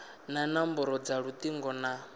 na nomboro dza lutingo na